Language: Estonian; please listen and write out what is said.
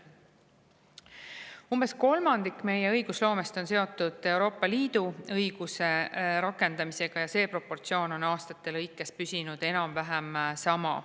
Umbes kolmandik meie õigusloomest on seotud Euroopa Liidu õiguse rakendamisega ja see proportsioon on aastate lõikes püsinud enam-vähem sama.